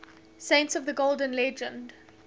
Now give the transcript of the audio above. saints of the golden legend